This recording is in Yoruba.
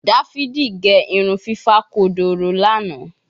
Davidi ge irun fifa kodoro Lana